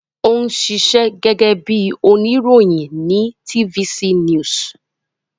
Ó ń ṣiṣẹ́ gẹ́gẹ́ bí oníròyìn ní TVC news